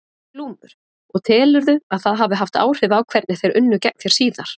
Glúmur: Og telurðu að það hafi haft áhrif á hvernig þeir unnu gegn þér síðar?